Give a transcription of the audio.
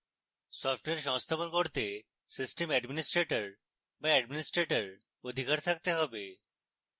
software সংস্থাপন করতে system administrator be administrator অধিকার থাকতে have